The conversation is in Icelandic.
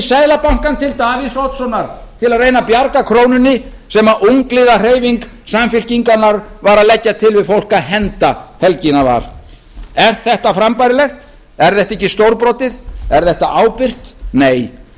seðlabankann til davíðs oddssonar til að reyna að bjarga krónunni sem ungliðahreyfing samfylkingarinnar var að leggja til við fólk að henda helgina var er þetta frambærilegt er þetta ekki stórbrotið er þetta ábyrgt nei